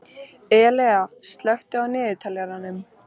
Elea, slökktu á niðurteljaranum.